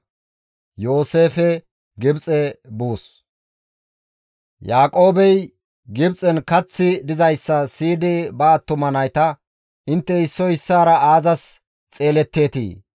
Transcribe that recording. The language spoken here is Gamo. Yaaqoobey Gibxen kaththi dizayssa siyidi ba attuma nayta, «Intte issoy issaara aazas xeeletteetii?